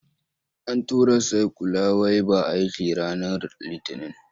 An tura saikyula wai ba aiki ranar Litinin.